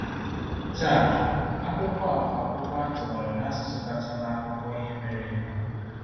Taa, akwụkwọ a bụ akwụkwọ a tụgharịrị n’asụsụ kacha n’akụkọ ihe mere eme.